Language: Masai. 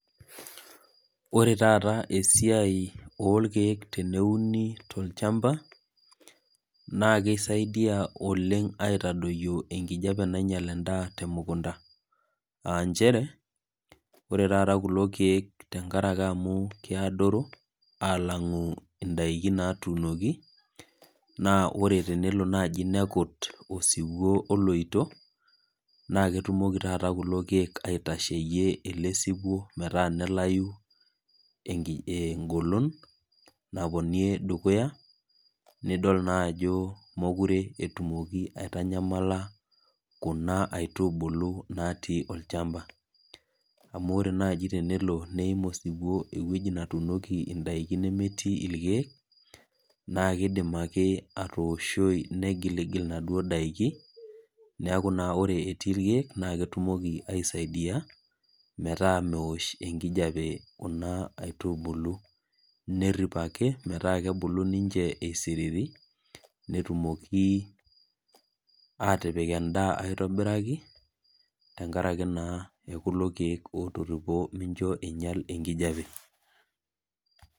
Ore taata esiai oorkek teneuni tolchamba naakeret oleng aitadoyio enkijiape nainyal endaa temukunda. Nchere, ore tata kulo keek amuu kiadoru ang indaiki nauno tokchamba naa ore tenelo nekut osiwuo oloito, naa ketumoki lelo keek aibooi. Amuu ore tenelo neim osiwuo ewueji netuunieki endaa nemetii irkeek keidim atoosho negiligil enaduo daa kake ore etii irkeek naa ketumoki aisadia metaa meosh enkijiape kuna aitubulu. Nerip ake metaa kebulu niche eisisriri. Netumokinu sii atipik endaa aitobiraki tengaraki naa kulo keek ootoripo meinyal enkijape